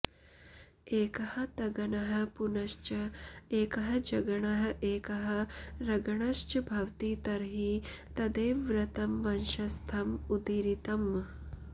एकः तगणः पुनश्च एकः जगणः एकः रगणश्च भवति तर्हि तदेव वृत्तं वंशस्थम् उदीरितम्